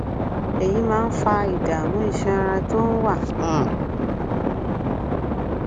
èyí máa ń fa ìdààmú iṣan ara tó ń wá um